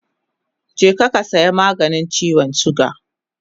Je ki saya maganin chiwon suga